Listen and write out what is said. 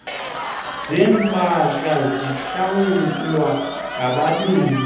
zempahla zihlawulwa ngabanini